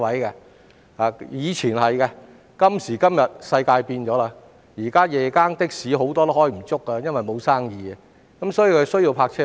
以前的確如此，但今時今日世界變了，現時夜更的士很多都工作不足，沒有生意，所以需要泊車位。